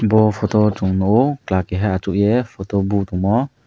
bo photo o chowng nogo kela keha asogei photo bo tongmo.